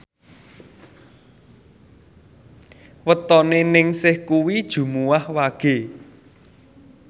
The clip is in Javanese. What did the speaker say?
wetone Ningsih kuwi Jumuwah Wage